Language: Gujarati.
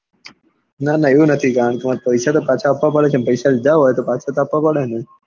ના ના એવું નથી કારણ કે માર પૈસા તો પાછા આપવા પડે ને કે પૈસા લીધા હોય તો પાછા તો આપવા પડે ને.